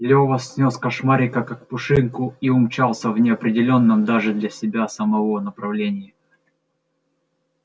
лёва снёс кошмарика как пушинку и умчался в неопределённом даже для себя самого направлении